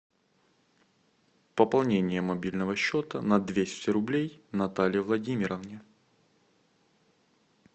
пополнение мобильного счета на двести рублей наталье владимировне